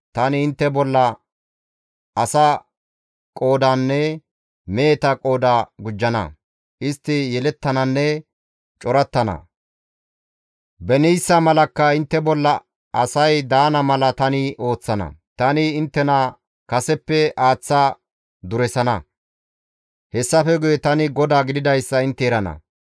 Tani intte bolla asa qoodanne meheta qooda gujjana; istti yelettananne corattana; beniissa malakka intte bolla asay daana mala tani ooththana; tani inttena kaseppe aaththa duresana; hessafe guye tani GODAA gididayssa intte erana.